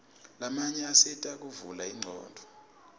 lamanye asita kuvula ingcondvo